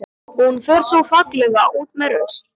Og hún fer svo fallega út með rusl.